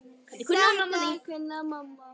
Þetta kunni mamma.